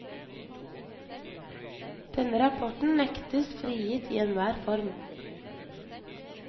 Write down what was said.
Denne rapporten nektes frigitt i enhver form.